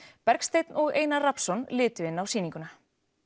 Bergsteinn og Einar Rafnsson litu inn á sýninguna